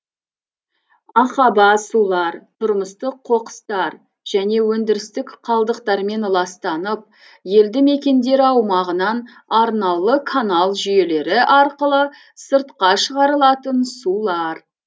ақаба сулар тұрмыстық қоқыстар және өндірістік қалдықтармен ластанып елді мекендер аумағынан арнаулы канал жүйелері арқылы сыртқа шығарылатын сулар